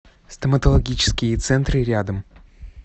стоматологические центры рядом